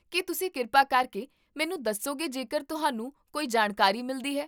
ਕੀ ਤੁਸੀਂ ਕਿਰਪਾ ਕਰਕੇ ਮੈਨੂੰ ਦੱਸੋਗੇ ਜੇਕਰ ਤੁਹਾਨੂੰ ਕੋਈ ਜਾਣਕਾਰੀ ਮਿਲਦੀ ਹੈ?